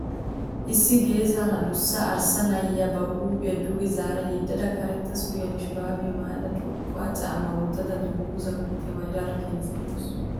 Issi geesaara adussa arssa na'iya ba huuphiya duge zaara yedada karetta suriyanne shuraabiya maayada xoqqa caammaa wottada dunguzaa kootiya maayidaara keehippe lo'awusu.